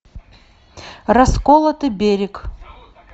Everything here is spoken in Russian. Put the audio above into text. расколотый берег